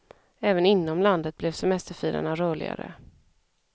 Även inom landet blev semesterfirarna rörligare.